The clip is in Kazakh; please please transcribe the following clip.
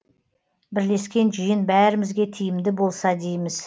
бірлескен жиын бәрімізге тиімді болса дейміз